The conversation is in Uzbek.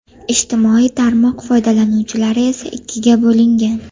Ijtimoiy tarmoq foydalanuvchilari esa ikkiga bo‘lingan.